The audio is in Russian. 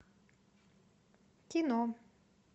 кино